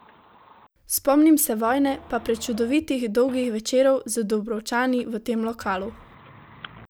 Spomnim se vojne pa prečudovitih dolgih večerov z Dubrovčani v tem lokalu.